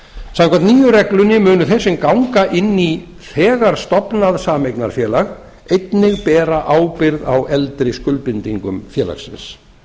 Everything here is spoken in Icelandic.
nýju reglunni munu þeir sem ganga inn í þegar stofnað sameignarfélag einnig bera ábyrgð á eldri skuldbindingum félagsins